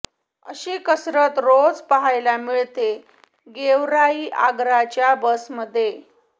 अशी कसरत रोज पाहायला मिळते गेवराई आगाराच्या बसमध्ये